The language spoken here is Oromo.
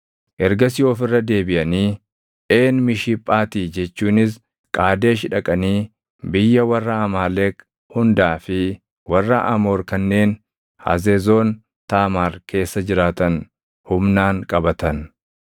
Ergasii of irra deebiʼanii Een Mishiphaati jechuunis Qaadesh dhaqanii biyya warra Amaaleq hundaa fi warra Amoor kanneen Hazezoon Taamaar keessa jiraatan humnaan qabatan.